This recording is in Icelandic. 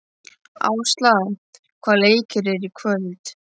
Ásla, hvaða leikir eru í kvöld?